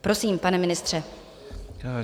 Prosím, pane ministře.